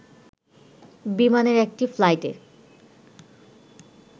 বিমানের একটি ফ্লাইটে